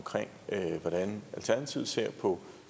hvordan alternativet ser på